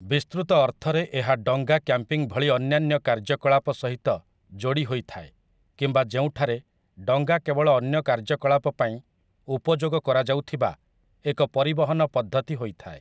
ବିସ୍ତୃତ ଅର୍ଥରେ ଏହା ଡଙ୍ଗା କ୍ୟାମ୍ପିଂ ଭଳି ଅନ୍ୟାନ୍ୟ କାର୍ଯ୍ୟକଳାପ ସହିତ ଯୋଡ଼ି ହୋଇଥାଏ କିମ୍ବା ଯେଉଁଠାରେ ଡଙ୍ଗା କେବଳ ଅନ୍ୟ କାର୍ଯ୍ୟକଳାପ ପାଇଁ ଉପଯୋଗ କରାଯାଉଥିବା ଏକ ପରିବହନ ପଦ୍ଧତି ହୋଇଥାଏ ।